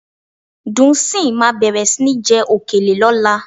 Dùnńsìn máa bẹ̀rẹ̀ sí ní jẹ òkèlè lọ́la